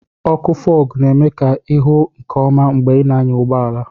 ọkụ Fog na-eme ka ị hụ nke ọma mgbe ị na-anya ụgbọ ala